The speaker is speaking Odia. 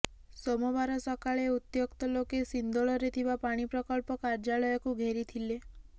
ସୋମବାର ସକାଳେ ଉତ୍ୟକ୍ତ ଲୋକେ ସିନ୍ଦୋଳରେ ଥିବା ପାଣି ପ୍ରକଳ୍ପ କାର୍ଯ୍ୟାଳୟକୁ ଘେରିଥିଲୋ